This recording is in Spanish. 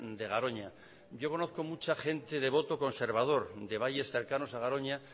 de garoña yo conozco mucha gente de voto conservador de valles cercanos a garoña